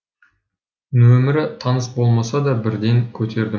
нөмірі таныс болмаса да бірден көтердім